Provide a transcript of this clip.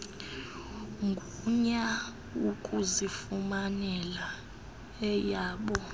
gunya ukuzifumanela eyabo